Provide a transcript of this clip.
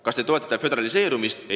Kas te toetate föderaliseerumist?